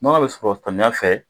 Nɔnɔ bɛ sɔrɔ samiyɛ fɛ